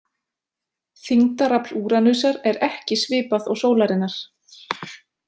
Þyngdarafl Úranusar er ekki svipað og sólarinnar.